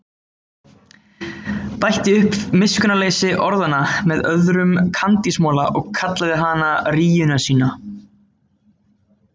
Bætti upp miskunnarleysi orðanna með öðrum kandísmola og kallaði hana rýjuna sína.